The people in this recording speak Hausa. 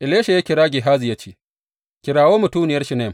Elisha ya kira Gehazi ya ce, Kirawo mutuniyar Shunam.